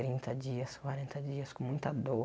Trinta dias, quarenta dias com muita dor.